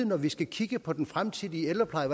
når vi skal kigge på den fremtidige ældrepleje